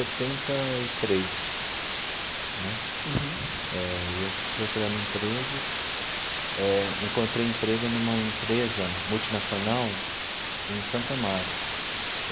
e três né eh e eu procurando emprego eh, encontrei emprego numa empresa multinacional em Santo Amaro.